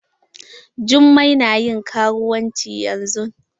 jummai na ƴin karuwanci yanzun